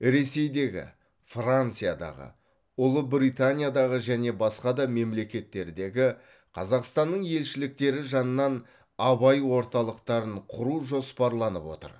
ресейдегі франциядағы ұлыбританиядағы және басқа да мемлекеттердегі қазақстанның елшіліктері жанынан абай орталықтарын құру жоспарланып отыр